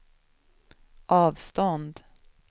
avstånd